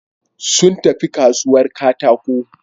Sun tafi kasuwar katako.